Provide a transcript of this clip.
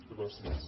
gràcies